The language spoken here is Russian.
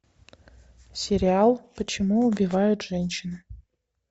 сериал почему убивают женщины